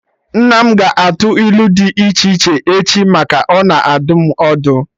Nne m ga-atụ ilu dị iche iche echi maka na ọ na adụ m ọdụ